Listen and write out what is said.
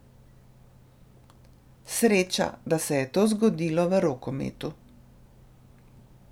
Sreča, da se je to zgodilo v rokometu.